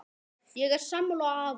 Ég er sammála afa.